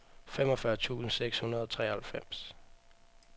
femogfyrre tusind seks hundrede og treoghalvfems